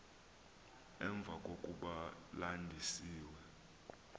emva kokuba landisiwe